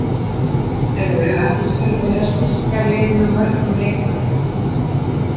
Hvað heldurðu að þú þurfir að styrkja liðið með mörgum leikmönnum?